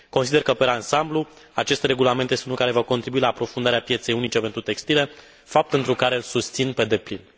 Consider că, per ansamblu, acest regulament este unul care va contribui la aprofundarea pieței unice pentru textile, fapt pentru care îl susțin pe deplin.